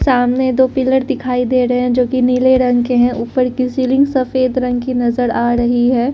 सामने दो पिलर दिखाई दे रहे हैं जो कि नीले रंग के हैं ऊपर की सीलिंग सफेद रंग की नजर आ रही है।